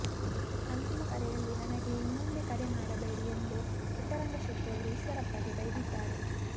ಅಂತಿಮ ಕರೆಯಲ್ಲಿ ನನಗೆ ಇನ್ನೊಮ್ಮೆ ಕರೆ ಮಾಡಬೇಡಿ ಎಂದು ಪುಟ್ಟರಂಗಶೆಟ್ಟಿ ಅವರು ಈಶ್ವರಪ್ಪ ಗೆ ಬೈದಿದ್ದಾರೆ